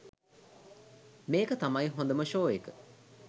මේක තමයි හොදම ෂෝ එක